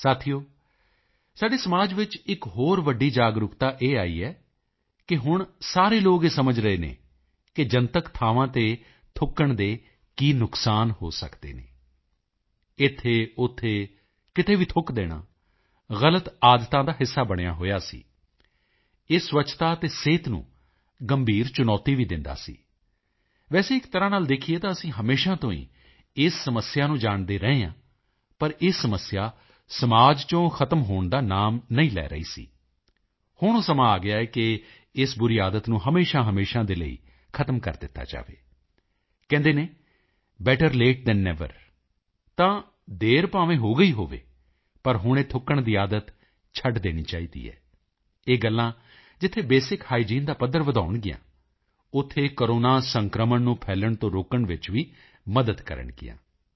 ਸਾਥੀਓ ਸਾਡੇ ਸਮਾਜ ਵਿੱਚ ਇੱਕ ਹੋਰ ਵੱਡੀ ਜਾਗਰੂਕਤਾ ਇਹ ਆਈ ਹੈ ਕਿਹੁਣ ਸਾਰੇ ਲੋਕ ਇਹ ਸਮਝ ਰਹੇ ਹਨ ਕਿ ਜਨਤਕ ਥਾਵਾਂ ਤੇ ਥੁੱਕਣ ਦੇ ਕੀ ਨੁਕਸਾਨ ਹੋ ਸਕਦੇ ਹਨ ਇੱਥੇ ਉੱਥੇ ਕਿਤੇ ਵੀ ਥੁੱਕ ਦੇਣਾ ਗ਼ਲਤ ਆਦਤਾਂ ਦਾ ਹਿੱਸਾ ਬਣਿਆ ਹੋਇਆ ਸੀ ਇਹ ਸਵੱਛਤਾ ਤੇ ਸਿਹਤ ਨੂੰ ਗੰਭੀਰ ਚੁਣੌਤੀ ਵੀ ਦਿੰਦਾ ਸੀ ਵੈਸੇ ਇੱਕਤਰ੍ਹਾਂ ਨਾਲ ਦੇਖੀਏ ਤਾਂ ਅਸੀਂ ਹਮੇਸ਼ਾ ਤੋਂ ਹੀ ਇਸ ਸਮੱਸਿਆ ਨੂੰ ਜਾਣਦੇ ਰਹੇ ਹਾਂ ਪਰ ਇਹ ਸਮੱਸਿਆ ਸਮਾਜ ਚੋਂ ਖ਼ਤਮ ਹੋਣ ਦਾ ਨਾਮ ਹੀ ਨਹੀਂ ਲੈ ਰਹੀ ਸੀ ਹੁਣ ਉਹ ਸਮਾਂ ਆ ਗਿਆ ਹੈ ਕਿ ਇਸ ਬੁਰੀ ਆਦਤ ਨੂੰ ਹਮੇਸ਼ਾਹਮੇਸ਼ਾ ਦੇ ਲਈ ਖ਼ਤਮ ਕਰ ਦਿੱਤਾ ਜਾਵੇ ਕਹਿੰਦੇ ਹਨ ਬੈਟਰ ਲੇਟ ਥਾਨ ਨੇਵਰ ਤਾਂ ਦੇਰ ਭਾਵੇਂ ਹੋ ਗਈ ਹੋਵੇ ਪਰ ਹੁਣ ਇਹ ਥੁੱਕਣ ਦੀ ਆਦਤ ਛੱਡ ਦੇਣੀ ਚਾਹੀਦੀ ਹੈ ਇਹ ਗੱਲਾਂ ਜਿੱਥੇ ਬੇਸਿਕ ਹਾਈਜੀਨ ਦਾ ਪੱਧਰ ਵਧਾਉਣਗੀਆਂ ਉੱਥੇ ਕੋਰੋਨਾ ਸੰਕਰਮਣ ਨੂੰ ਫੈਲਣ ਤੋਂ ਰੋਕਣ ਵਿੱਚ ਵੀ ਮਦਦ ਕਰਨਗੀਆਂ